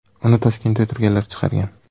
Uni Toshkentda o‘tirganlar chiqargan.